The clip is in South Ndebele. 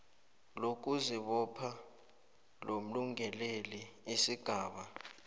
lokuzibopha lomlungeleli isigaba